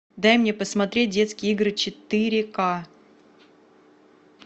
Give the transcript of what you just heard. дай мне посмотреть детские игры четыре ка